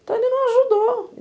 Então ele não ajudou.